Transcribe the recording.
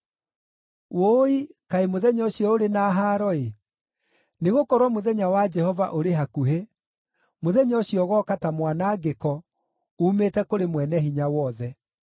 Wũi, kaĩ mũthenya ũcio ũrĩ na haaro-ĩ! Nĩgũkorwo mũthenya wa Jehova ũrĩ hakuhĩ; mũthenya ũcio ũgooka ta mwanangĩko uumĩte kũrĩ Mwene-Hinya-Wothe.